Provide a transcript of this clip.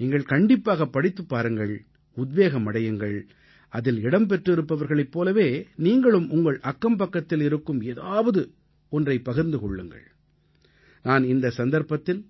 நீங்கள் கண்டிப்பாகப் படித்துப் பாருங்கள் உத்வேகம் அடையுங்கள் அதில் இடம் பெற்றிருப்பவர்களைப் போலவே நீங்களும் உங்கள் அக்கம்பக்கத்தில் இருக்கும் ஏதாவது ஒன்றைப் பகிர்ந்து கொள்ளுங்கள் நான் இந்த சந்தர்ப்பத்தில்